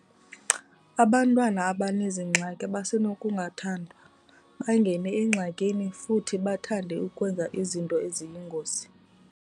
Abantwana abanezi ngxaki basenokungathandwa, bangene engxakini futhi bathande ukwenza izinto eziyingozi.